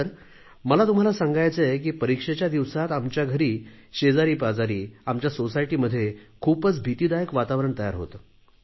sir मला तुम्हाला सांगायचेय की परीक्षेच्या दिवसांत आमच्या घरी शेजारीपाजारी आमच्या सोसायटीमध्ये खूपच भीतीदायक वातावरण तयार होते